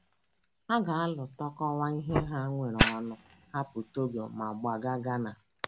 Ha ga - alụ, tụkọta ihe ha nwere ọnụ, hapụ Togo, ma gbaga Ghana.